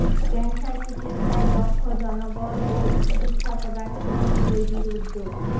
cancer চিকিৎসায় দক্ষ জনবল ও চিকিৎসা পদার্থবিদ তৈরিরর উদ্যোগ